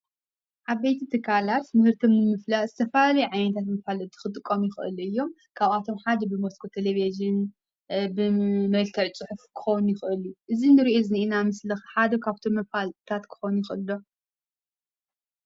ዓበይቲ ትካላት ምህርቲ ንምፍላጥ ዝተፈላለዩ ዓይነታት መፋለጢ ክጥቀሙ ይክእሉ እዮም፡፡ ካብአቶም ሓደ ድማ ብመስኮት ቴሌቪዥን፣ ብመልክዕ ፅሑፍ ክኸውን ይክእል እዩ፡፡ እዚ እንሪኦ ዘለና ምስሊ ሓደ ካብቶም መፋለጢታት ክኸውን ይክእል ዶ?